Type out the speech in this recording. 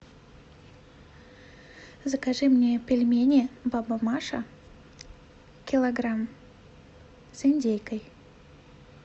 закажи мне пельмени баба маша килограмм с индейкой